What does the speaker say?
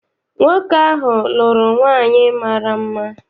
Nwoke ahụ lụrụ nwaanyị mara mma.